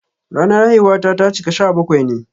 Ranar haihuwata ta cika sha bakwai ne.